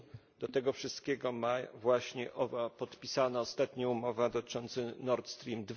Jak się do tego wszystkiego ma właśnie owa podpisana ostatnio umowa dotycząca Nord Stream